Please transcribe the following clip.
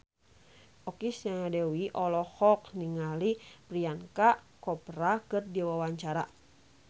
Okky Setiana Dewi olohok ningali Priyanka Chopra keur diwawancara